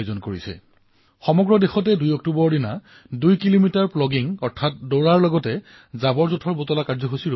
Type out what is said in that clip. ২ অক্টোবৰত আৰম্ভ হবলগীয়া এই অভিযানত আমি সকলোৱে এয়াই কৰিব লাগে যে ২ কিলোমিটাৰৰ জগিঙো কৰক আৰু ৰাস্তাত পৰি থকা প্লাষ্টিক আৱৰ্জনাসমূহ জমাও কৰক